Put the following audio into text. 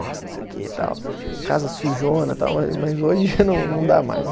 Nossa, isso aqui e tal, casa sujona tal, mas hoje já não dá mais.